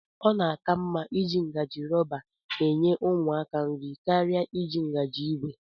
Ọ na-aka mma iji ngajị rọba enye ụmụaka nri karịa iji ngaji ìgwè